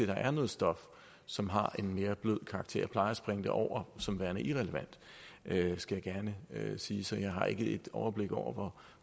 der er noget stof som har en mere blød karakter jeg plejer at springe det over som værende irrelevant skal jeg gerne sige så jeg har ikke et overblik over